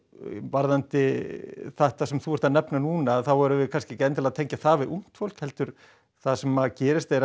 varðandi þetta sem þú ert að nefna núna þá erum við kannski ekki endilega að tengja það við ungt fólk það sem gerist er